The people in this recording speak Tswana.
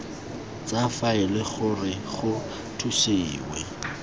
tsa faele gore go thusiwe